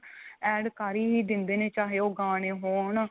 add ਕ਼ਰ ਹੀ ਦਿੰਦੇ ਨੇ ਚਾਹੇ ਉਹ ਗਾਣੇ ਹੋਣ